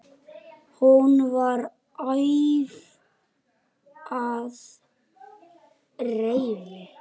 Hún var æf af reiði.